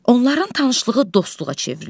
Onların tanışlığı dostluğa çevrilir.